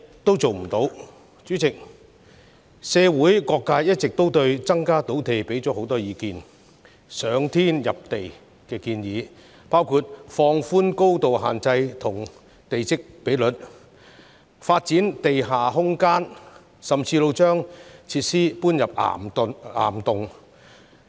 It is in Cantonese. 代理主席，社會各界一直就增加土地供應提供很多意見，包括"上天下地"的建議，例如放寬高度限制及地積比率、發展地下空間，甚或把設施遷入岩洞。